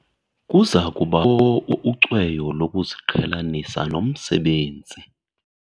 Kuza kubakho ucweyo lokuziqhelanisa nomsebenzi.